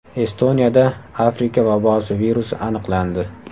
Estoniyada Afrika vabosi virusi aniqlandi.